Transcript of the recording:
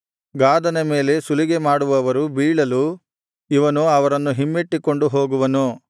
ಗಾದನ ಮೇಲೆ ಸುಲಿಗೆ ಮಾಡುವವರು ಬೀಳಲು ಇವನು ಅವರನ್ನು ಹಿಮ್ಮಟ್ಟಿಕೊಂಡು ಹೋಗುವನು